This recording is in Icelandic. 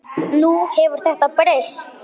Nú hefur þetta breyst.